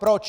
Proč?